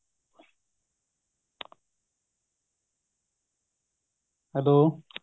hello